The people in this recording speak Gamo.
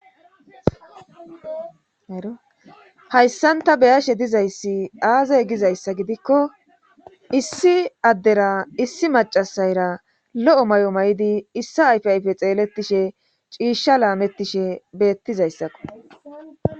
ero hayssanta beyashe dizayssi aazay gizayssa gidikko issi addera issi macasayra lo7o may7o may7idi issa ayfayfe xeelettishe ciishsha laamettishe beettizayssakko